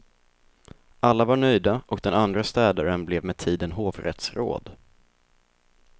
Alla var nöjda och den andre städaren blev med tiden hovrättsråd.